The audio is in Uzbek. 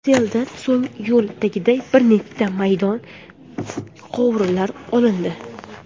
Seldan so‘ng yo‘l tagidagi bir nechta beton quvurlar olindi.